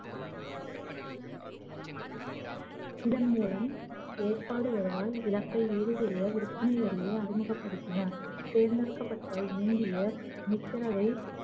இதன் மூலம் ஏற்பாடு வருவாய் இழப்பை ஈடு செய்ய விற்பனை வரியை அறிமுகப்படுத்தினார் தேர்ந்தெடுக்கப்பட்ட இந்தியர் மித்திரவை